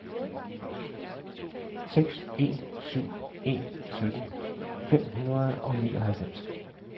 seks en syv en sytten fem hundrede og nioghalvfems